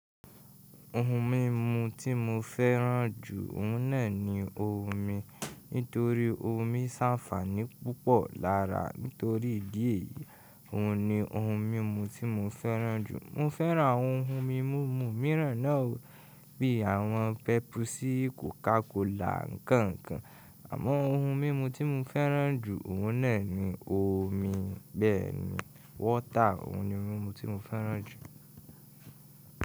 Ohun mímu tí mo fẹ́ràn jù, òun náà ni omi. Nítorí omi ń sàǹfààní púpọ̀ lára. Nítorí ìdí èyí, òun ni ohun mímu tí mo fẹ́ràn jù. Mo fẹ́ràn àwọn ohun mímu mìíràn náà o, bí i àwọn pepusi, kòkakola, nkànkàn. Àmọ́ ohun mímu tí mo fẹ́ràn jù, òun náà ni omi. Bẹ́ẹ̀ni, wọ́tà. Òun ni ohun mímu tí mo fẹ́ràn jù.